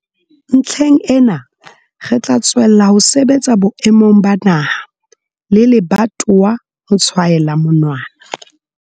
Ntlheng ena, re tla tswella ho sebetsa boemong ba naha le lebatowa ho tshwaela monwana.